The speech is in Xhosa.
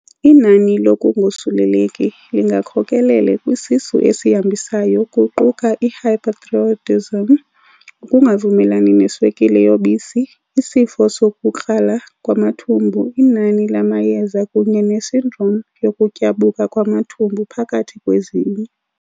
Inani lokungosuleleki lingakhokelele kwisisu eshambisayo kuquka- i-hyperthyroidism, ukungavumelani neswekile yobisi, isifo sokukrala kwamathumbu, inani lamayeza, kunye nesindrom yokutyabuka kwamathumbu phakathi kwezinye.